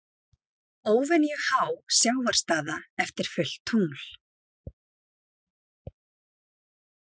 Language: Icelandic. Óvenju há sjávarstaða eftir fullt tungl